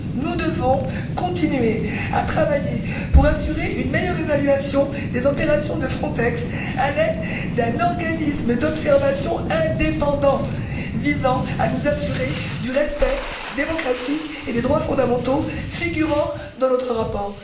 Nous devons continuer à travailler pour assurer une meilleure évaluation des opérations de Frontex à l'aide d'un organisme d'observation indépendant, visant à nous assurer du respect démocratique et des droits fondamentaux figurant dans notre rapport.